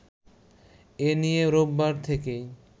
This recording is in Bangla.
এ নিয়ে রোববার থেকেই